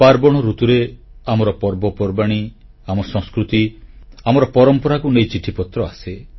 ପାର୍ବଣ ଋତୁରେ ଆମର ପର୍ବପର୍ବାଣୀ ଆମ ସଂସ୍କୃତି ଆମର ପରମ୍ପରାକୁ ନେଇ ଚିଠିପତ୍ର ଆସେ